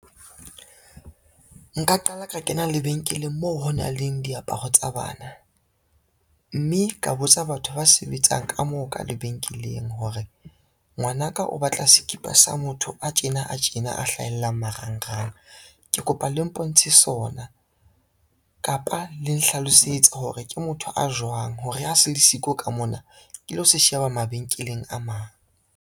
Nka qala ka kena lebenkeleng moo ho nang le diaparo tsa bana, mme ka botsa batho ba sebetsang ka moo ka lebenkeleng hore, ngwana ka o batla sekipa sa motho a tjena a tjena a hlahellang marangrang. Ke kopa le mpontshe sona kapa le nhlalosetse hore ke motho a jwang hore a se le siko ka mona ke lo se sheba mabenkeleng a mang.